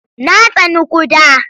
Na tsani ƙuda.